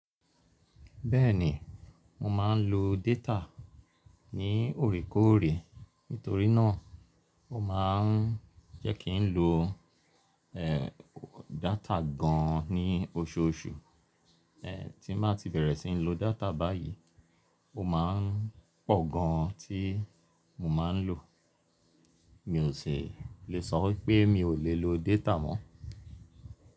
Bẹ́ẹ̀ni, mo máa ń lo dátà ní òòrèkòòrè, nítorí náà ó máa ń jẹ́ kí ń lo, è, dátà gan ní oṣooṣù. È, tí màá ti bẹ̀rẹ̀ sí ní lo dátà báyìí, ó máa ń pọ̀ gan tí mo máa ń lò. Mi ò sì lè sọ pé mi ò lè lo dátà mọ́.